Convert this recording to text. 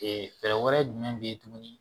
Ee fɛɛrɛ wɛrɛ jumɛn be yen tuguni